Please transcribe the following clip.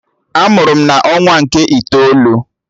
A mụrụ m na ọnwa nke itoolu